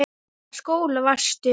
Í hvaða skóla varstu?